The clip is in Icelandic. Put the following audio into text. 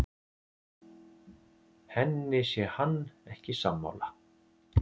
Henni sé hann ekki sammála